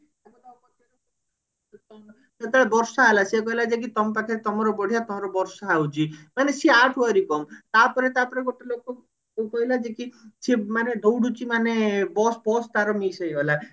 ଯେତେବେଳେ ବର୍ଷା ହେଲା ସେ କହିଲା ଯାଇକି ତମ ପାଖରେ ତମର ବଢିଆ ତମର ବର୍ଷା ହଉଛି ମାନେ ସିଏ ଆ ଠାରୁ ଆହୁରି କମ ତାପରେ ତାପରେ ଗୋଟେ ଲୋକକୁ କହିଲା ଯିଏ କି ସିଏ ମାନେ ଦଉଡୁଛି ମାନେ bus ଫସ ତାର miss ହେଇଗଲା